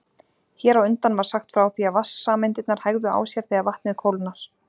Hér á undan var sagt frá því að vatnssameindirnar hægðu á sér þegar vatnið kólnar.